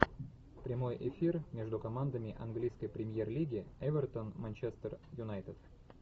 прямой эфир между командами английской премьер лиги эвертон манчестер юнайтед